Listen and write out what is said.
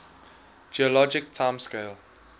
geologic time scale